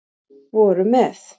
voru með